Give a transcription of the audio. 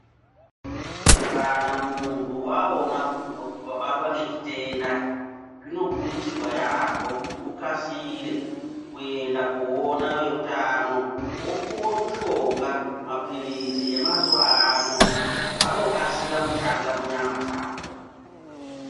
Kana munthu waona kuti wabatwa ngechitenda zvinokurudzirwa yaamhpo kuti ukasire kuenda koona veutano wopuwe mushonga mapilizi mazuwa ano anokasire kushanda munyama dzako.